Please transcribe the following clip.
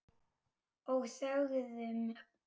Og þögðum.